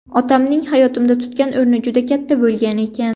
Otamning hayotimda tutgan o‘rni juda katta bo‘lgan ekan.